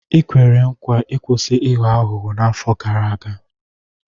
I kwere nkwa ịkwụsị ịghọ aghụghọ n'afọ gara aga.